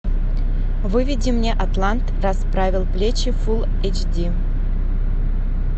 выведи мне атлант расправил плечи фул эйч ди